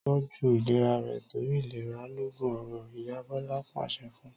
Tọ́jú ìlera rẹ torí ìlera loògùn ọrọ̀!', Ìyá Bọlá pàṣẹ fun